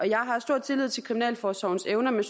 jeg har stor tillid til kriminalforsorgens evner men